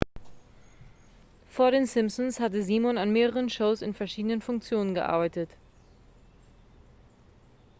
vor den simpsons hatte simon an mehreren shows in verschiedenen funktionen gearbeitet